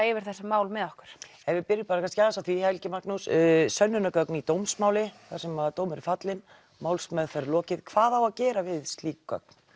yfir þessi mál með okkur ef við byrjum á því Helgi Magnús sönnunargögn í dómsmáli þar sem dómur er fallinn málsmeðferð lokið hvað á að gera við slík gögn